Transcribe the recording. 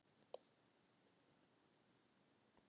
Hvort erum við komin af öpum eða fiskum?